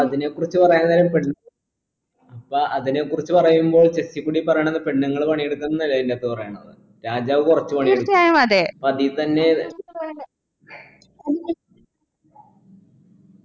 അതിനെ കുറിച്ച് പറയാനുള്ള ഇപ്പൊ ഇപ്പൊ അതിനെ കുറിച്ച് പറയുമ്പോൾ check ഇ കൂടി പറയണേ പെണ്ണുങ്ങൾ പണിയെടുക്കുന്നതല്ലേ അതിന്റകത്ത് പറയണത് രാജാവ് കുറച്ച് പണിയെടുക്കും അപ്പൊ അതീ തന്നെ